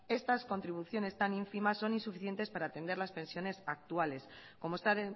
estas contribuciones tan ínfimas son insuficientes para atender las pensiones actuales como está